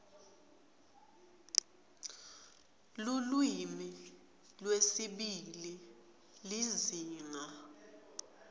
lulwimi lwesibili lizinga